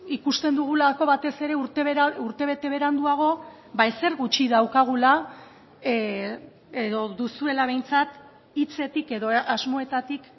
ikusten dugulako batez ere urtebete beranduago ezer gutxi daukagula edo duzuela behintzat hitzetik edo asmoetatik